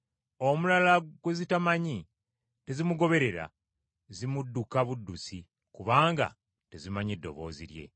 Omulala gwe zitamanyi, tezimugoberera, zimudduka buddusi kubanga tezimanyi ddoboozi lye.”